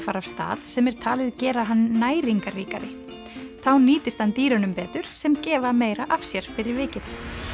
fara af stað sem er talið gera hann næringarríkari þá nýtist hann dýrunum betur sem gefa meira af sér fyrir vikið